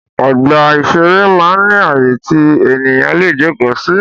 Ọgbà ìṣeré máa ń ní àyè tí ènìyàn lè jókòó sí